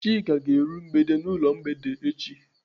Chika ga-eru mgbede n'ụlọ mgbede echi.